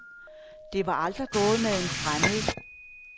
Det var aldrig gået med en fremmed.